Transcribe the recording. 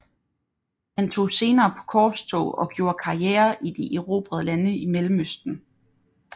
Han tog senere på korstog og gjorde karriere i de erobrede lande i Mellemøsten